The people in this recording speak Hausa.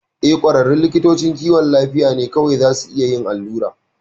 Eh, ƙwararrun likitocin kiwon lafiya ne kawai zasu a iya yin allura.